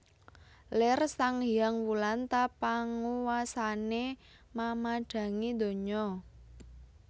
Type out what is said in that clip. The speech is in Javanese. Lir sang hyang Wulan ta panguwasané mamadhangi donya